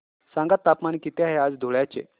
सांगा तापमान किती आहे आज धुळ्याचे